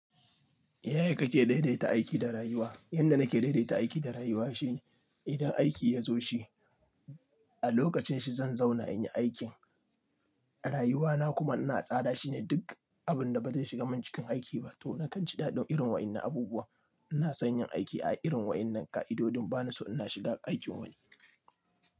Yaya kake daidaita aiki da rayuwa? Yanda nake daidaita aiki da rayuwa shine idan aiki ya zo shi, a lokacin shi zan zauna in yi aikin. Rayuwana kuma ina tsara shine duk abin da ba zai shiga mun cikin aiki ba to na kan ji ɗaɗin irin waɗannan abubuwa. Ina son yin aiki a irin waɗannan ƙa'idodin bana so ina shiga aikin wani.